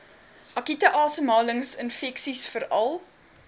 akute asemhalingsinfeksies veral